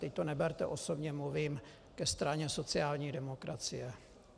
Teď to neberte osobně, mluvím ke straně sociální demokracie.